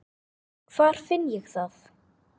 Hvar finn ég það?